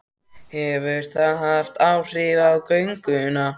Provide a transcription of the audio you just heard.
Hefur það haft áhrif á gönguna?